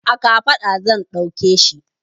A kafaɗa zan ɗauke shi.